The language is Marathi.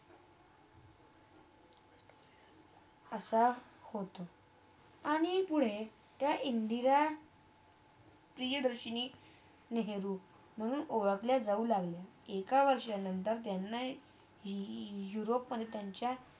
असा होते आणि पुढे त्या इंदिरा प्रियदर्शनी नेहरू म्हणून ओळखल्या जाऊ लागले एका वर्षा नंतर त्यांना यूरोपमधे त्यांचा